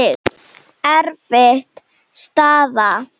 Erfið staða.